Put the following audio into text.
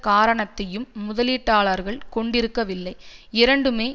காரணத்தையும் முதலீட்டாளர்கள் கொண்டிருக்கவில்லை இரண்டுமே